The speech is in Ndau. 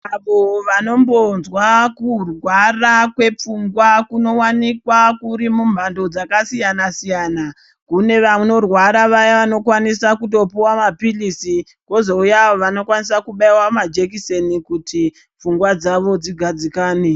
Avo vanombonzwawo kurwara kwepfungwa kunowanikwa kuri mumhando dzakasiyana siyana kune vanorwara Vaya vanokwanisa kutopuwawo mapirizi vozouya vanokwanisa kuita majekiseni kuti pfungwa dzawo dzigadzikane.